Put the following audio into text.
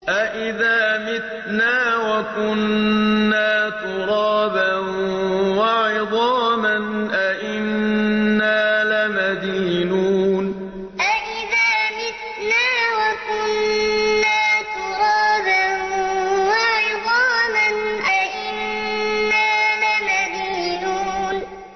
أَإِذَا مِتْنَا وَكُنَّا تُرَابًا وَعِظَامًا أَإِنَّا لَمَدِينُونَ أَإِذَا مِتْنَا وَكُنَّا تُرَابًا وَعِظَامًا أَإِنَّا لَمَدِينُونَ